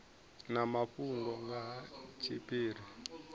na mafhungo nga ha tshiphiri